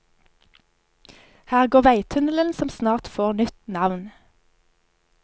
Her går veitunnelen som snart får nytt navn.